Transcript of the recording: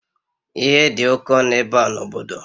Ihe dị oke ọnụ ebe a n'obodo?